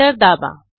enter दाबा